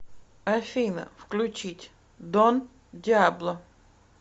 афина включить дон диабло